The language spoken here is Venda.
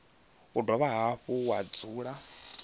ya dovha hafhu ya dzula